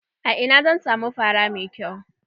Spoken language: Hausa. A ina zan samu fara mai kyau?